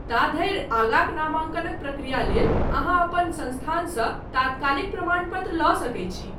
ता धरि, आगाँक नामांकनक प्रक्रिया लेल अहाँ अपन संस्थानसँ तात्कालिक प्रमाण पत्र लऽ सकैत छी।